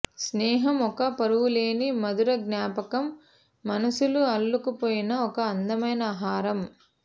స్నేహం ఓ పరువలేని మధుర జ్ఞాపకం మనసులు అల్లుకుపోయిన ఓ అందమైన హారం